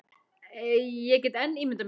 Ég get enn ímyndað mér!